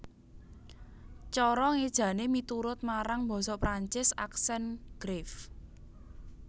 Cara ngéjané miturut marang basa Perancis accent grave